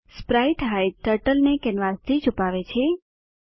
sprite hide turtle ને કેનવાસથી છુપાવે છે